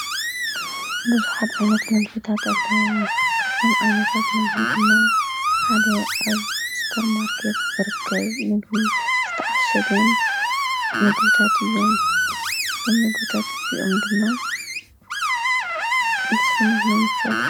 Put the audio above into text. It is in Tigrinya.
ብዙሓት ዓይነት ምግብታት ኣለዉ። ካብቶም ዓይነታት ምግቡ ድማ ሓደ ኣብ ስፖር ማርኬት ዝርከብ ምግቢ ዝተዓሸገን ምግብታት እዮም። እዞም ምግብታት እዚኦም ድማ ንሱውነትና ሙችዋት ይህቡ።